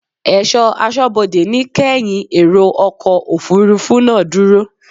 Ẹ̀ṣọ́ aṣọ́bodè ní kẹ́ yin èrò ọkọ̀ Òfurufú náà dúró!